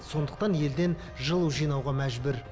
сондықтан елден жылу жинауға мәжбүр